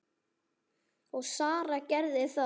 Og Sara gerði það.